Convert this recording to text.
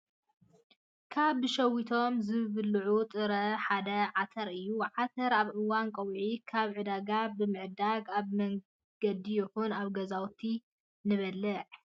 ካብ ብሸዊቶም ዝብልኡ ጥራምረ ሓደ ዓተር እዩ። ዓተር ኣብ እዋን ቀውዒ ካብ ዕዳጋ ብምዕዳግ ኣብ መንገዲ ይኹን ኣብ ገዛውትና ንበልዕ።